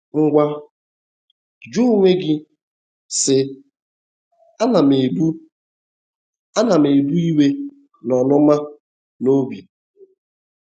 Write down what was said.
Ngwa, jụọ onwe gị, sị: ‘ Àna m ebu Àna m ebu iwe na ọnụma n’obi?